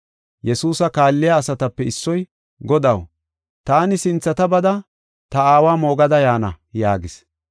Yesuusa kaalliya asatape issoy, “Godaw, taani sinthata bada ta aawa moogada yaana” yaagis.